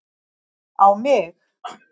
á mig